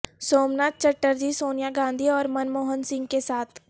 Somnath Chatterjee Sonia Gandhi اور Manmohan Singh کے ساتھ